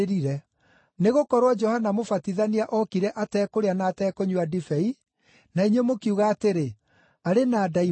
Nĩgũkorwo Johana Mũbatithania ookire atekũrĩa na atekũnyua ndibei, na inyuĩ mũkiuga atĩrĩ, ‘Arĩ na ndaimono.’